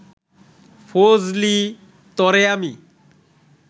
ফজলি, তরে আমি